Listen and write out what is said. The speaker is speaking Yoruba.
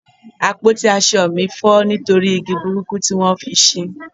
àpótí asọ mi fọ nitori igi burúkú ti won fi ṣe